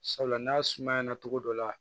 Sabula n'a suma ɲɛna togo dɔ la